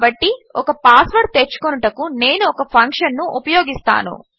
కాబట్టి ఒక పాస్వర్డ్ తెచ్చుకొనుటకు నేను ఒక ఫంక్షన్ ఉపయోగిస్తాను